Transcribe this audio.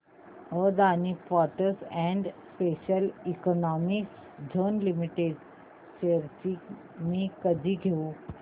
Adani ports and special economic zone limited shares मी कधी घेऊ